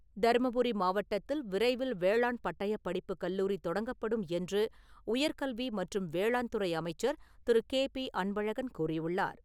தருமபுரி மாவட்டத்தில் விரைவில் வேளாண் பட்டயப்படிப்பு கல்லூரி தொடங்கப்படும் என்று உயர்கல்வி மற்றும் வேளாண் துறை அமைச்சர் திரு. கே. பி. அன்பழகன் கூறியுள்ளார்.